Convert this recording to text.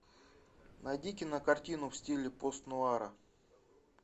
найди кинокартину в стиле постнуара